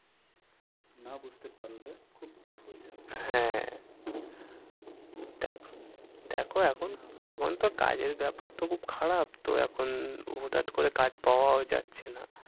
না বুঝতে পারলে খুব tough হয়ে যায় হ্যাঁ হম হম দেখো এখন, এখন তো কাজের ব্যাপার তো খুব খারাপ তো এখন হুটহাট করে কাজ পাওয়াও যাচ্ছে না।